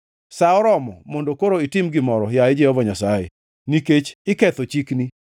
Sa oromo mondo koro itim gimoro, yaye Jehova Nyasaye, nikech iketho chikni.